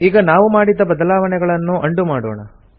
ಈಗ ನಾವು ಮಾಡಿದ ಬದಲಾವಣೆಗಳನ್ನು ಉಂಡೋ ಮಾಡೋಣ